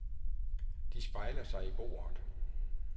De spejler sig i bordet.